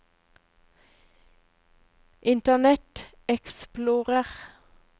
internet explorer